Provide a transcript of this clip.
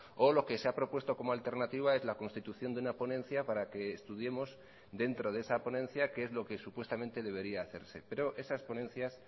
o lo que se ha propuesto como alternativa es la constitución de una ponencia para que estudiemos dentro de esa ponencia qué es lo que supuestamente debería hacerse pero esas ponencias